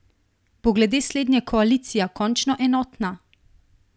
Bo glede slednje koalicija končno enotna?